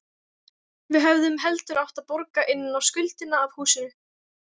Við hefðum heldur átt að borga inn á skuldina af húsinu.